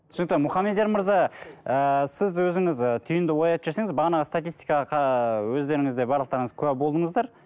түсінікті мұқамедияр мырза ііі сіз өзіңіз і түйінді ой айтып жіберсеңіз бағанағы статистикаға ыыы өздеріңіз де барлықтарыңыз куә болдыңыздар